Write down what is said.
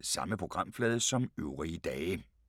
Samme programflade som øvrige dage